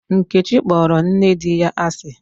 Nkechi kpọrọ nne di ya asị.